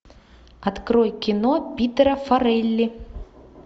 открой кино питтера форели